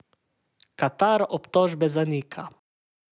Katar obtožbe zanika.